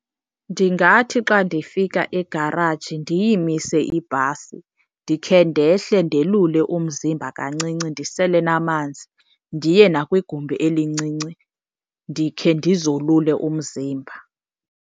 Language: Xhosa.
Ndingathi xa ndifika egaraji ndiyimise ibhasi ndikhe ndehle ndelule umzimba kancinci ndisele namanzi, ndiye nakwigumbi elincinci ndikhe ndizolule umzimba.